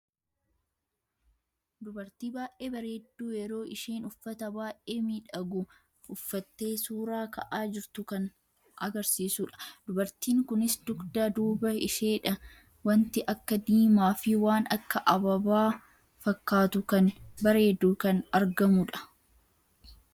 Dubartii baay'ee bareeddu yeroo isheen uffata baay'ee miidhagu uffatte suuraa ka'aa jirtu kan acarsiisudha. Dubartiin kunis dugdaa duuba isheedha wanti akka diimaa fi waan akka Abaaba fakkatu kan bareedu kan argamudha.